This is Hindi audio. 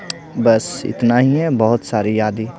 बस इतना ही है बहुत सारी यादी।